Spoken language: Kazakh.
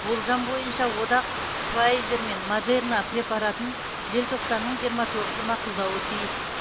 болжам бойынша одақ пфайзер мен модерна препаратын желтоқсанның жиырма тоғызы мақұлдауы тиіс